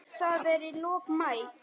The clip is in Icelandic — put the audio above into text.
Þetta er í lok maí.